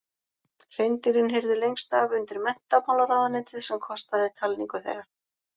Hreindýrin heyrðu lengst af undir Menntamálaráðuneytið sem kostaði talningu þeirra.